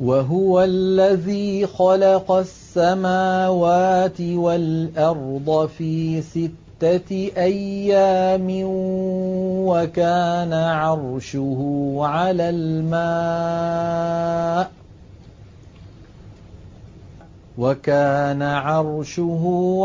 وَهُوَ الَّذِي خَلَقَ السَّمَاوَاتِ وَالْأَرْضَ فِي سِتَّةِ أَيَّامٍ وَكَانَ عَرْشُهُ